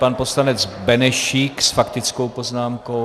Pan poslanec Benešík s faktickou poznámkou.